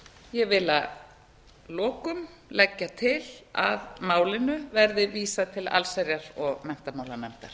ég vil að lokum leggja til að málinu verði vísað til allsherjar og menntamálanefndar